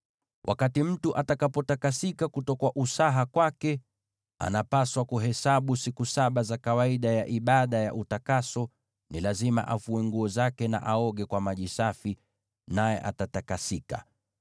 “ ‘Wakati mtu atakapotakasika kutoka usaha wake, anapaswa kuhesabu siku saba kwa utakaso wake. Ni lazima afue nguo zake na aoge kwa maji safi, naye atatakasika.